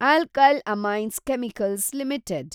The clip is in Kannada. alkyl amines chemicals limited